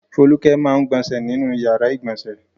Folúkẹ máa ń gbọnṣẹ̀ nínú ìyàrá-ìgbọnsẹ̀.